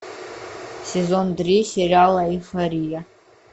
сезон три сериала эйфория